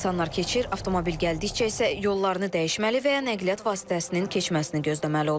İnsanlar keçir, avtomobil gəldikcə isə yollarını dəyişməli və ya nəqliyyat vasitəsinin keçməsini gözləməli olurlar.